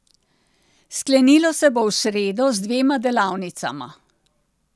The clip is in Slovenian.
Sklenilo se bo v sredo z dvema delavnicama.